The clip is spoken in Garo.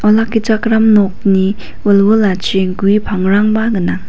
olakkichakram nokni wilwilachi gue pangrangba gnang.